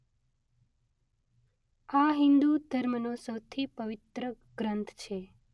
આ હિંદુ ધર્મનો સૌથી પવિત્ર ગ્રંથ છે.